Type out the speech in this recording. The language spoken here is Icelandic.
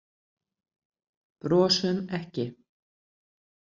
Brosum ekki.